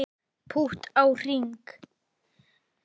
Pútt á hring